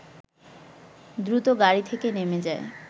দ্রুত গাড়ি থেকে নেমে যায়